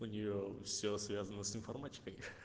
у нее все связано с информатикой